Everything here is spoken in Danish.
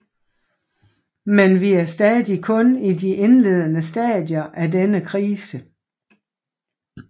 Men vi er stadig kun i de indledende stadier af denne krise